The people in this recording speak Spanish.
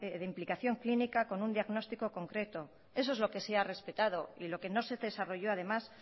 de implicación clínica con un diagnóstico concreto eso es lo que se ha respetado y lo que no se desarrolló además